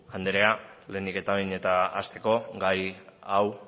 andrea lehenik eta behin eta hasteko gai hau